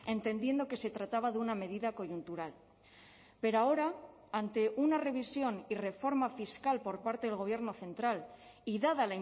entendiendo que se trataba de una medida coyuntural pero ahora ante una revisión y reforma fiscal por parte del gobierno central y dada